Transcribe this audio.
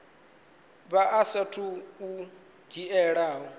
vha saathu u a dzhiela